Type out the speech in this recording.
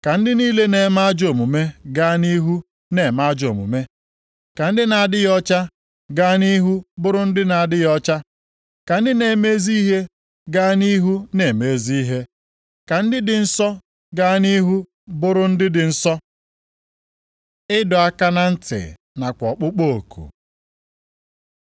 Ka ndị niile na-eme ajọ omume gaa nʼihu na-eme ajọ omume, ka ndị na-adịghị ọcha gaa nʼihu bụrụ ndị na-adịghị ọcha, ka ndị na-eme ezi ihe gaa nʼihu na-eme ezi ihe, ka ndị dị nsọ gaa nʼihu bụrụ ndị dị nsọ.” Ịdọ aka na ntị nakwa ọkpụkpọ oku